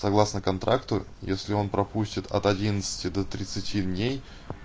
согласно контракту если он пропустит от одиннадцати до тридцати дней